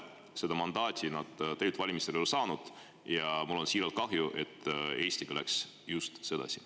Seda mandaati nad tegelikult valimistel ei saanud ja mul on siiralt kahju, et Eestiga läks just sedasi.